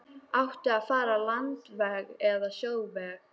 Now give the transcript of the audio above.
Átti að fara landveg eða sjóveg?